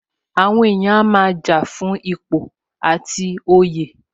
Àwọn èèyàn a máa jà fún ipò àti oyè